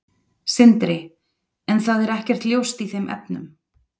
Sindri: En það er ekkert ljóst í þeim efnum?